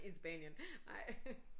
I Spanien ej